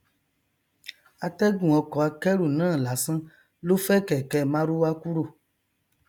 atẹgùn ọkọ akẹrù náà lásán ló fẹ kẹkẹ marwa kúrò